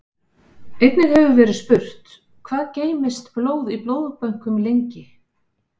Einnig hefur verið spurt: Hvað geymist blóð í blóðbönkum lengi?